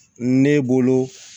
Ne bolo